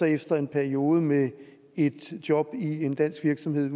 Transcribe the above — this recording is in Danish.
efter en periode med et job i en dansk virksomhed